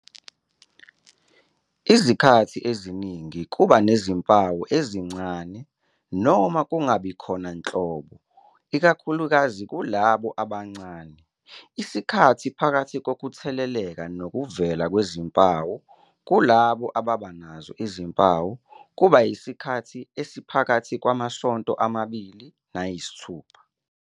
Izikhathi eziningi kuba nezimpawu ezincane noma zingabi khona nhlobo ikakhulukazi kulabo abancane. Isikhathi phakathi kokutheleleka nokuvela kwezimpawu, kulabo ababa nazo izimpawu, kuba yisikhathi esiphakathi kwamasonto amabili nayisithupha.